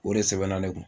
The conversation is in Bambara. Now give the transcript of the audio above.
O de sɛbɛnna ne kun